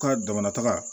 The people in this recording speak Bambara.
Ka damana taga